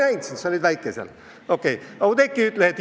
Vabandust, ma ei näinud sind, sa oled nii väike!